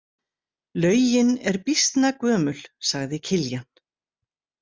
Laugin er býsna gömul, sagði Kiljan.